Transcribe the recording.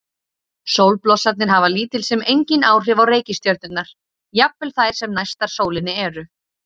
Sólblossarnir hafa lítil sem engin áhrif á reikistjörnurnar, jafnvel þær sem næstar sólinni eru.